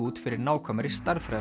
út fyrir nákvæmari